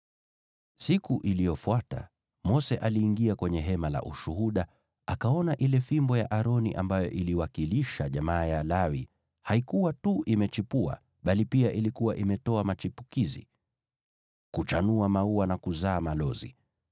Siku iliyofuata Mose aliingia kwenye Hema la Ushuhuda akaona ile fimbo ya Aroni ambayo iliwakilisha jamaa ya Lawi haikuwa tu imechipuka, bali pia ilikuwa imetoa machipukizi, kuchanua maua na kuzaa malozi.